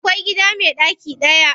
Akwai gida me ɗaki daya.